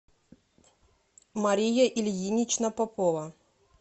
мария ильинична попова